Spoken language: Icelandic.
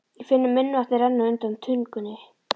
Ég finn munnvatnið renna undan tungunni.